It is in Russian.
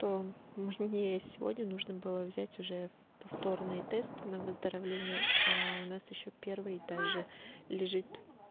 то мне сегодня нужно было взять уже повторный тест на выздоровление у нас ещё первый и также лежит